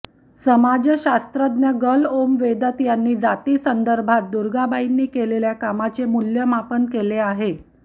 समाजशास्त्रज्ञ Gail Omvedt यांनी जातीसंदर्भात दुर्गाबाईंनी केलेल्या कामाचे मूल्यमापन केले आहे